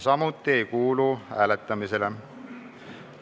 See ei kuulu samuti hääletamisele.